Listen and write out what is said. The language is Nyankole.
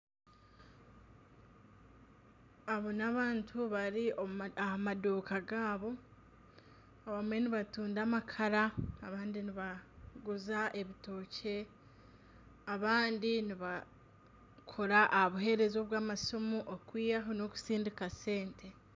Aba n'abantu bari omu madiuuka gaabo abamwe nibatunda amakara abandi nibaguza ebitookye abandi nibakora aha buhereza obw'amasimu kwihaho nana okusindika sente